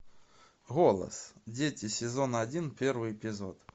голос дети сезон один первый эпизод